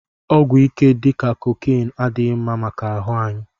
Ọgwụ ike dika cocaịnee adighi mma maka ahụ anyi